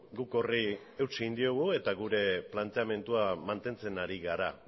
guk horri eutsi egin diogu eta gure planteamendua mantentzen ari gara